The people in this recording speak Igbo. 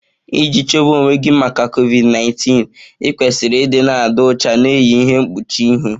Iji chebe onwe gị maka COVID 19, ịkwesịrị ịdị na-adị ọcha, na-eyi ihe mkpuchi ihu.